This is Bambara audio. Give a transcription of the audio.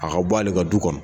A ka bɔ ale ka du kɔnɔ.